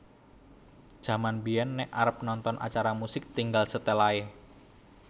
Jaman biyen nek arep nonton acara musik tinggal setel ae